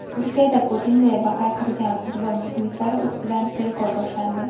Turkiyada "Putin" deya hayqirgan futbol muxlislari ustidan tergov boshlandi.